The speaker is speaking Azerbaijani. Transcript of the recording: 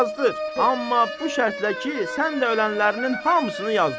Amma bu şərtlə ki, sən də ölənlərinin hamısını yazdır.